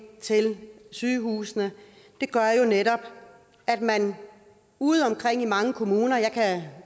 til sygehusene gør jo netop at man udeomkring i mange kommuner jeg kan